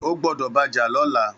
Ó gbọdọ bàjà lọ̀lá